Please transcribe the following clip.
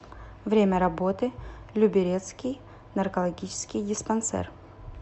время работы люберецкий наркологический диспансер